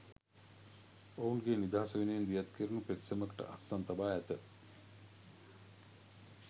ඔවුන්ගේ නිදහස වෙනුවෙන් දියත් කැරුණු පෙත්සමකට අත්සන් තබා ඇත.